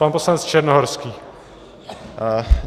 Pan poslanec Černohorský.